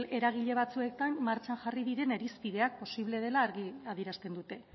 eragile batzuekin martxan jarri diren irizpideak posible dela argi adierazten dute